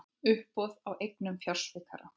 Uppboð á eignum fjársvikara